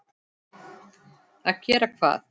Að gera hvað?